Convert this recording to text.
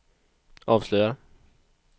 avslöjar